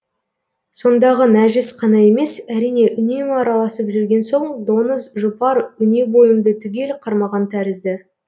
сондағы нәжіс қана емес әрине үнемі араласып жүрген соң доңыз жұпар өне бойымды түгел қармаған тәрізді